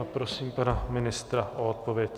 A prosím pana ministra o odpověď.